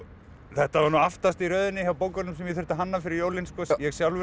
þetta var aftast í röðinni hjá bókunum sem ég þurfti að hanna fyrir jólin